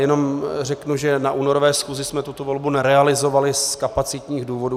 Jenom řeknu, že na únorové schůzi jsme tuto volbu nerealizovali z kapacitních důvodů.